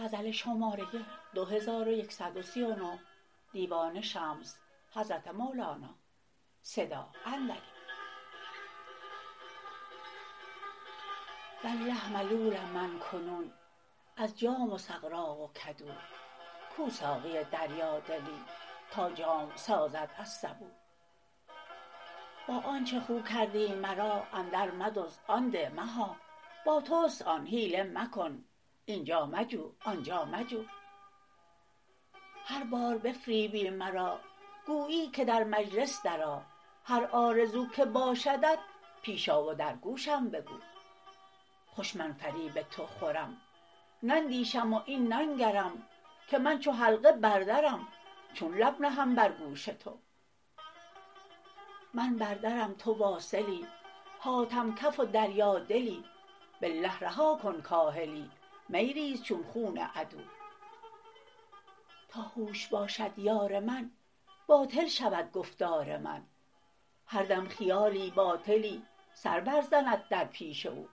والله ملولم من کنون از جام و سغراق و کدو کو ساقی دریادلی تا جام سازد از سبو با آنچ خو کردی مرا اندرمدزد آن ده مها با توست آن حیله مکن این جا مجو آن جا مجو هر بار بفریبی مرا گویی که در مجلس درآ هر آرزو که باشدت پیش آ و در گوشم بگو خوش من فریب تو خورم نندیشم و این ننگرم که من چو حلقه بر درم چون لب نهم بر گوش تو من بر درم تو واصلی حاتم کف و دریادلی بالله رها کن کاهلی می ریز چون خون عدو تا هوش باشد یار من باطل شود گفتار من هر دم خیالی باطلی سر برزند در پیش او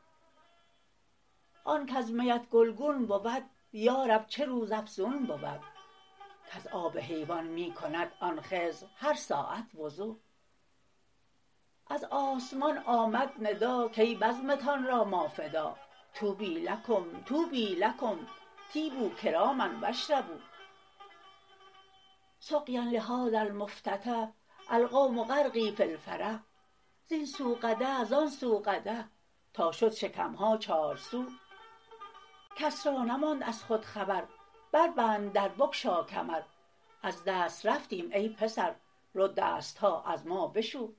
آن کز میت گلگون بود یا رب چه روزافزون بود کز آب حیوان می کند آن خضر هر ساعت وضو از آسمان آمد ندا کای بزمتان را ما فدا طوبی لکم طوبی لکم طیبوا کراما و اشربوا سقیا لهذا المفتتح القوم غرقی فی الفرح زین سو قدح زان سو قدح تا شد شکم ها چارسو کس را نماند از خود خبر بربند در بگشا کمر از دست رفتیم ای پسر رو دست ها از ما بشو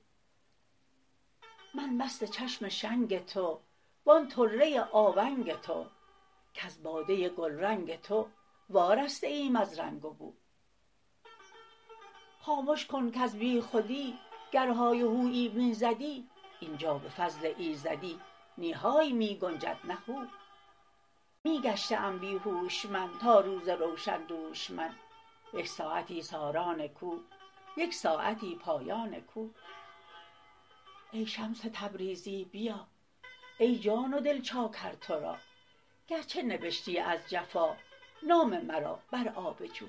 من مست چشم شنگ تو و آن طره آونگ تو کز باده گلرنگ تو وارسته ایم از رنگ و بو خامش کن کز بیخودی گر های و هویی می زدی این جا به فضل ایزدی نی های می گنجد نه هو می گشته ام بی هوش من تا روز روشن دوش من یک ساعتی ساران کو یک ساعتی پایان کو ای شمس تبریزی بیا ای جان و دل چاکر تو را گرچه نبشتی از جفا نام مرا بر آب جو